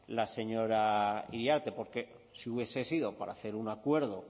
iriarte porque si hubiese sido para hacer un acuerdo